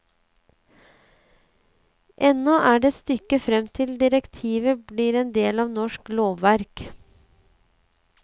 Ennå er det et stykke frem til direktivet blir en del av norsk lovverk.